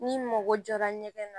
N'i mago jɔra ɲɛgɛn na